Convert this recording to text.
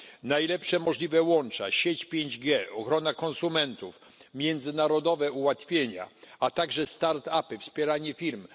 Najlepsze możliwe łącza, sieć 5G, ochrona konsumentów, międzynarodowe ułatwienia, a także start upy, wspieranie firm.